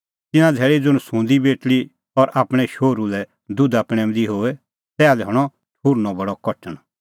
तिन्नां धैल़ी ज़ुंण सुंदी बेटल़ी और आपणैं शोहरू लै दुधा पणैंऊंदी होए तैहा लै हणअ ठुहर्नअ बडअ कठण